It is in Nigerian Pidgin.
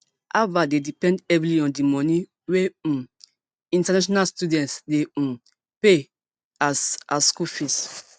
harvard dey depend heavily on di money wey um international students dey um pay as as school fees